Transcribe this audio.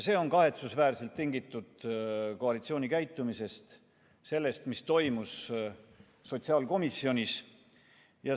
See on kahetsusväärselt tingitud koalitsiooni käitumisest – sellest, mis toimus sotsiaalkomisjonis.